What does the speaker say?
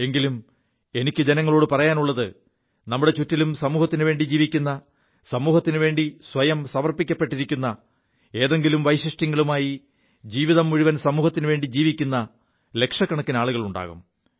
എങ്കിലും എനിക്കു ജനങ്ങളോടു പറയാനുള്ളത് നമ്മുടെ ചുറ്റിലും സമൂഹത്തിനു വേണ്ടി ജീവിക്കു സമൂഹത്തിനു വേണ്ടി സ്വയം സമർപ്പിക്കപ്പെിരിക്കു ഏതെങ്കിലും വൈശിഷ്ട്യങ്ങളുമായി ജീവിതം മുഴുവൻ സമൂഹത്തിനുവേണ്ടി ജീവിക്കു ലക്ഷക്കണക്കിന് ആളുകളുണ്ടാകും